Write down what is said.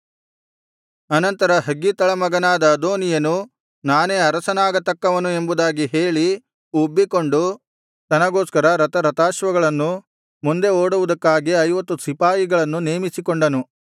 ಆನಂತರ ಹಗ್ಗೀತಳ ಮಗನಾದ ಅದೋನೀಯನು ನಾನೇ ಅರಸನಾಗತಕ್ಕವನು ಎಂಬುದಾಗಿ ಹೇಳಿ ಉಬ್ಬಿಕೊಂಡು ತನಗೋಸ್ಕರ ರಥರಥಾಶ್ವಗಳನ್ನೂ ಮುಂದೆ ಓಡುವುದಕ್ಕಾಗಿ ಐವತ್ತು ಸಿಪಾಯಿಗಳನ್ನೂ ನೇಮಿಸಿಕೊಂಡನು